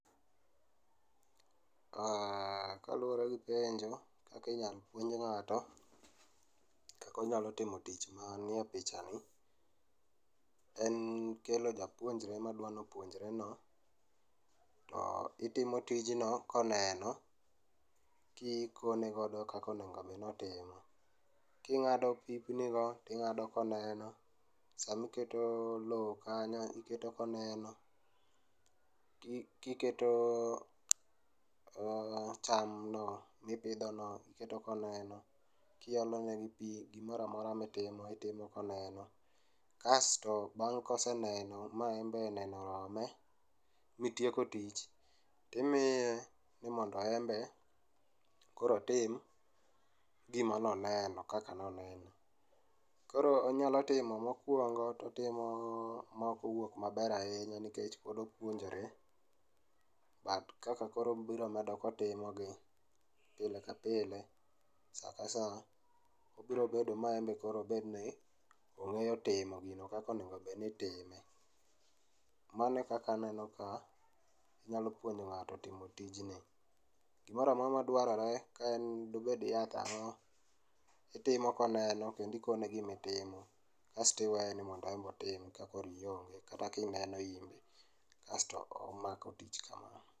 Kaluwore gi penjo kaka inyal puonj ng'ato kaka onyalo timo tich manie pichani, en kelo japuonjre madwa nopuonjre no to itimo tijno koneno, kikonegodo kaka onegobed notimo. King'ado pipnigo ting'ado koneno, samiketo lowo kanyo iketo koneno, kiketo chamno mipidhono iketo koneno, kiolonegi pi gimoro amora mitimo itimo koneno. Kasto bang' koseneno ma en be neno orome mitieko tich timiye ni mondo embe koro otim gimanoneno kaka noneno. Koro onyalo timo mokwomgo totimo maok owuok maber ahinya nikech pod opuonjore, but kaka koro obiro medo kotimogi pile ka pile sa ka sa obro bedo ma embe obedni ong'eyo timo gino kaka onego bed ni itime. Mano e kaka aneno ka inyalo puonjo ng'ato timo tijni. Gimoro amora madwarore kaen dobed yath ang'o itimo koneno kendo ikone gimitimo, kasto iweye ni mondo embe otim ka koro ionge kata kineno inbe. Kasto omako tich kamano.